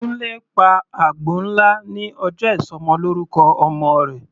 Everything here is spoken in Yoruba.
Kunle pa àgbò nlá ní ọjọ́ ìsọmọlọ́rúkọ ọmọ rẹ̀.